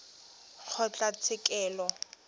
kgotlatshekelo